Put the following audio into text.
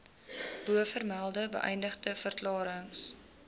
bovermelde beëdigde verklarings